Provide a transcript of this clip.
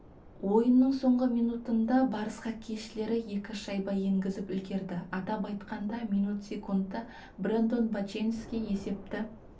ойынның соңғы минутында барыс хоккейшілері екі шайба енгізіп үлгерді атап айтқанда минут секундта брэндон боченски есепті